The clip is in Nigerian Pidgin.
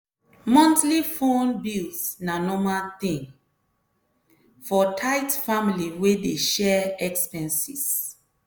monthly phone bills na normal thing for tight family wey dey share expenses.